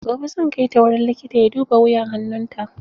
Gobe zan kai ta wurin likita ya duba wuyan hannun ta.